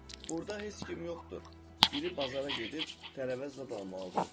Burda heç kim yoxdur, biri bazara gedib, tərəvəz zad almalıdır, dedi.